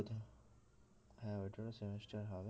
হ্যাঁ ওইটারও semester হবে